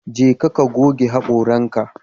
Jeka ka goge hakoranka